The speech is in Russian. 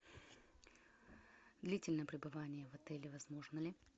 длительное пребывание в отеле возможно ли